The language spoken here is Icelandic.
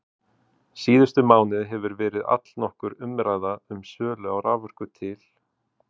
Síðustu mánuði hefur verið allnokkur umræða um sölu á raforku til